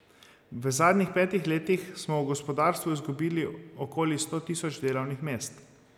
V zadnjih petih letih smo v gospodarstvu izgubili okoli sto tisoč delovnih mest.